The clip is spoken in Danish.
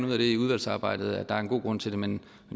ud af i udvalgsarbejdet at der er en god grund til det men